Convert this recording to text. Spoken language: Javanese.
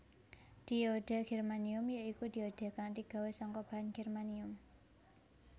Dioda germanium ya iku dioda kang digawé saka bahan germanium